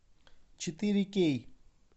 четыре кей